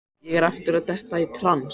Ég er aftur að detta í trans.